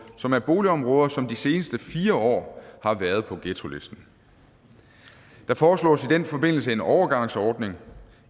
som er boligområder som de seneste fire år har været på ghettolisten der foreslås i den forbindelse en overgangsordning